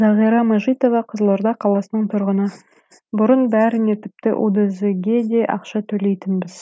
зағира мажитова қызылорда қаласының тұрғыны бұрын бәріне тіпті удз ге де ақша төлейтінбіз